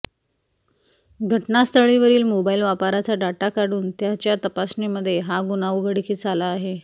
घटनास्थळावरील mobile वापराचा data काढून त्याच्या तपासणीमध्ये हा गुन्हा उघडकीस आला आहे